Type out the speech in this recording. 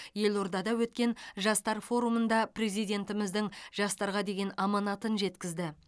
елордада өткен жастар форумында президентіміздің жастарға деген аманатын жеткізді